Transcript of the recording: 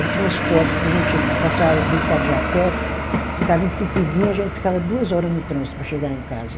O transporte para a gente passar a Ricardo Jafet ficava entupidinho, a gente ficava duas hora no trânsito para chegar em casa.